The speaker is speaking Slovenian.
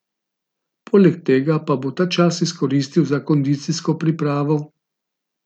Poleg tega pa bo ta čas izkoristil za kondicijsko pripravo.